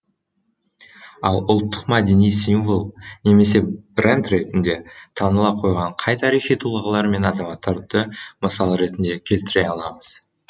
ал ұлттық мәдени символ немесе бренд ретінде таныла қойған қай тарихи тұлғалар мен азаматтарды мысал ретінде келтіре аламыз